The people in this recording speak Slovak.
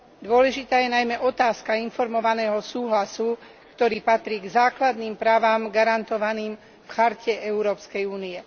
Dôležitá je najmä otázka informovaného súhlasu, ktorý patrí k základným právam garantovaným v charte európskej únie.